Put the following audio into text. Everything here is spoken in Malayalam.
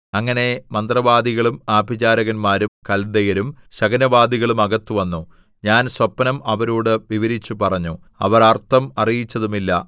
അങ്ങനെ മന്ത്രവാദികളും ആഭിചാരകന്മാരും കല്ദയരും ശകുനവാദികളും അകത്ത് വന്നു ഞാൻ സ്വപ്നം അവരോടു വിവരിച്ചു പറഞ്ഞു അവർ അർത്ഥം അറിയിച്ചതുമില്ല